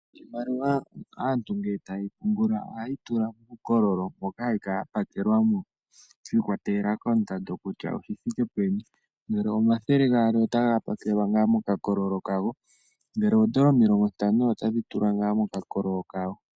Iimaliwa aantu ngele taye yi pungula ohaye yi tula muukololo moka hayi kala yapakelwa mo, shi ikwatela koondando kutya oyi thike peni, ngele omathele gaali otaga pakelwa ngaa mokakololo kago, ngele oondola omilongo ntano otadhi tulwa ngaa mokakololo kadho.